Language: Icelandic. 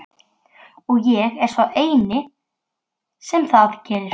Ertu lagstur í kör Jón biskup Arason?